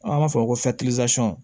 An b'a fɔ o ma ko